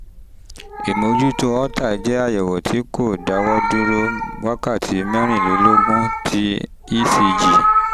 ìmójútó holter jẹ́ àyẹ̀wò tí kò dáwọ́ dúró ((wákàtí mẹ́rìnlélógún) ti ecg